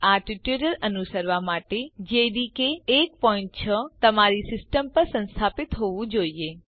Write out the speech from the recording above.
આ ટ્યુટોરીયલ અનુસરવા માટે જેડીકે 16 તમારી સિસ્ટમ પર સંસ્થાપિત હોવું જોઈએ